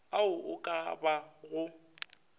ao a ka ba go